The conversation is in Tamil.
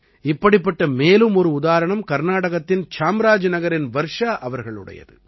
இப்படிப்பட்ட மேலும் ஒரு உதாரணம் கர்நாடகத்தின் சாம்ராஜ்நகரின் வர்ஷா அவர்களுடையது